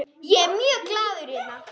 Ég er mjög glaður hérna.